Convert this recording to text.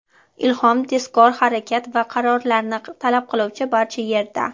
Ilhom tezkor harakat va qarorlarni talab qiluvchi barcha yerda.